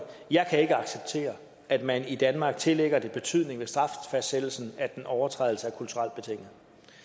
jeg kan ikke acceptere at man i danmark tillægger det betydning ved straffastsættelsen at en overtrædelse er kulturelt betinget